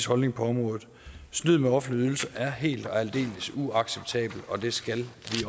holdning på området snyd med offentlige ydelser er helt og aldeles uacceptabelt og det skal vi